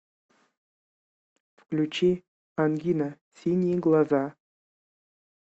включи ангина синие глаза